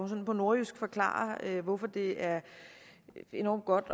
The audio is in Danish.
sådan på nordjysk forklarer hvorfor det er enormt godt